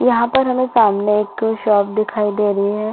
यहाँ पर हमें सामने एक शॉप दिखाई दे रही है।